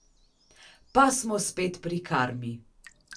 Pa smo spet pri karmi!